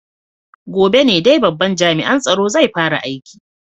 Gobe ne dai babban jami'an tsaro zai fara aiki.